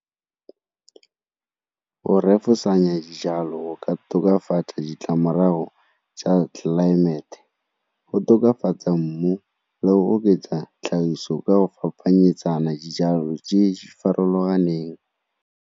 Go refosanya dijalo ka tokafatsa ditlamorago tsa tlelaemete, go tokafatsa mmu le go oketsa tlhagiso ka go fapanyetsana dijalo tse di farologaneng.